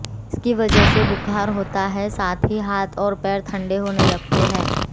जिसकी वजह से बुखार होता है साथ ही हाथ और पैर ठंडे होने लगते हैं